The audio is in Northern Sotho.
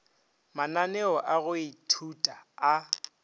mananeo a go ithuta a